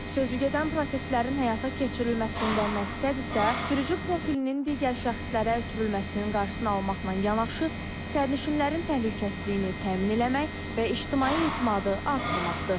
Sözü gedən proseslərin həyata keçirilməsində məqsəd isə sürücü profilinin digər şəxslərə ötürülməsinin qarşısını almaqla yanaşı, sərnişinlərin təhlükəsizliyini təmin etmək və ictimai etimadı artırmaqdır.